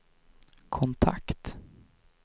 kontakt